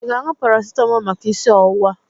Ị ga-aṅu paracitamọ maka isi ọwụwa?